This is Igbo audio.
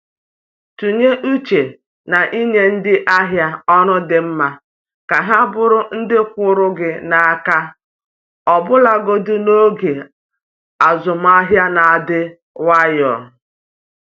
Tinye uche n’inye ndị ahịa ọrụ dị mma ka ha bụrụ ndị kwụụrụ gị n’aka ọbụlagodi n’oge azụmahịa na-adị nwayọ.